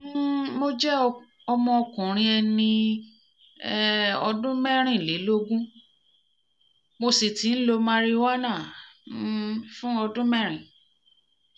um mo jẹ́ ọmọkùnrin ẹni um ọdún mẹ́rìnlélógún mo sì ti ń lo marijúánà um fún ọdún mẹ́rin